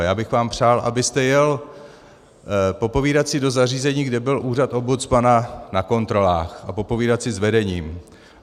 A já bych vám přál, abyste jel popovídat si do zařízení, kde byl úřad ombudsmana na kontrolách, a popovídat si s vedením.